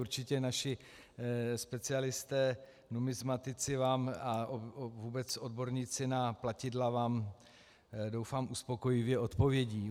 Určitě naši specialisté numismatici a vůbec odborníci na platidla vám doufám uspokojivě odpovědí.